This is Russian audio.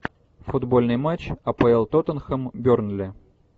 футбольный матч апл тоттенхэм бернли